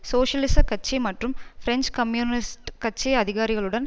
சோசியலிச கட்சி மற்றும் பிரெஞ்சு கம்யூனிஸ்ட் கட்சி அதிகாரிகளுடன்